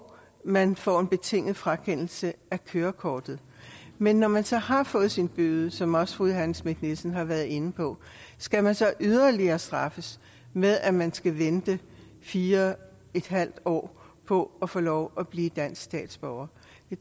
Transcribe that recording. man får en betinget frakendelse af kørekortet men når man så har fået sin bøde som også fru johanne schmidt nielsen har været inde på skal man så yderligere straffes med at man skal vente fire en halv år på at få lov at blive dansk statsborger